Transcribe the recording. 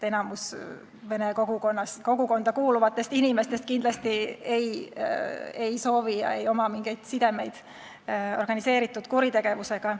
Enamik vene kogukonda kuuluvatest inimestest kindlasti ei soovi omada ega oma mingeid sidemeid organiseeritud kuritegevusega.